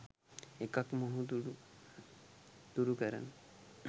එකක් මොහඳුර දුරු කරන